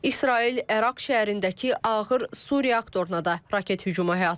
İsrail Ərak şəhərindəki ağır su reaktoruna da raket hücumu həyata keçirib.